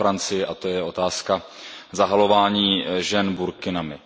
ve Francii, a to je otázka zahalování žen burkinami.